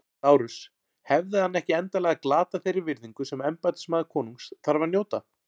LÁRUS: Hefði hann ekki endanlega glatað þeirri virðingu sem embættismaður konungs þarf að njóta?